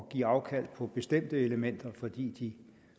give afkald på bestemte elementer fordi de